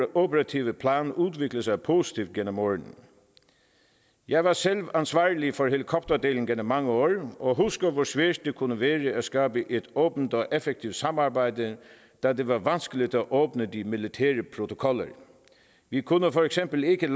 operative plan udviklet sig positivt gennem årene jeg var selv ansvarlig for helikopterdelen gennem mange år og husker hvor svært det kunne være at skabe et åbent og effektivt samarbejde da det var vanskeligt at åbne de militære protokoller vi kunne for eksempel ikke